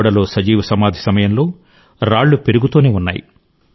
గోడలో సజీవ సమాధి సమయంలో రాళ్ళు పెరుగుతూనే ఉన్నాయి